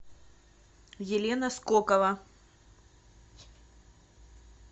елена скокова